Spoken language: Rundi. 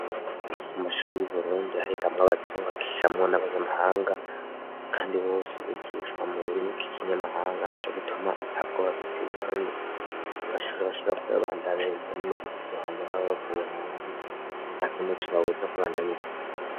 Mu mashuri y'uburundi harikamwo abatungakiyamwo n'abanyamahanga, kandi bose bigishwa mu rurimi ko ikinyamahanga nti co gituma atabwo babitayi, kandi mashurhi abashabora koyabandaniza n'muvukuvyo hanje n'aba bavuye hanze ataka imuco babuza kurandanya izibu vyabo.